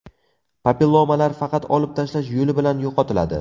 Papillomalar faqat olib tashlash yo‘li bilan yo‘qotiladi.